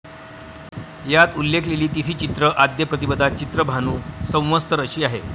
यात उल्लेखिलेली तिथी चैत्र आद्य प्रतिपदा चित्रभानु संवत्सर अशी आहे.